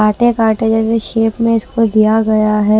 काटे काटे जैसे शेप में इसको दिया गया है।